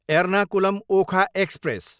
Ernakulam, Okha express